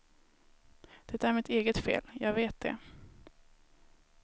Det är mitt eget fel, jag vet det.